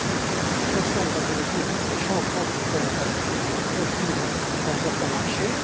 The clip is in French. Je suis conscient, Mesdames et Messieurs, des changements qu'une telle interdiction peut entraîner dans certains marchés.